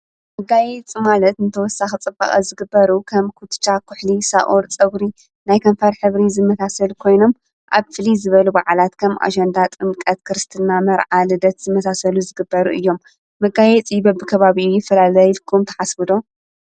ምጋይ ጽማለት እንተወሳ ኽጽባቐ ዝግበሩ ከም ኲትሻ ዂሕሊ ሳኦር ጸጕሪ ናይ ከንፋር ሕብሪ ዝመታሰል ኮይኖም ኣብ ፍሊ ዝበሉ ብዓላት ከም ኣሸንዳ ጥምቀት ክርስትና መርዓልደት ዝመታሰሉ ዝግበሩ እዮም መጋይ ጺበ ኣብከባብኡ ይፈላላይልኩም ተሓስብዶ